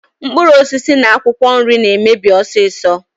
Mkpuruosisi na akwokwo nri na-emebi osiso.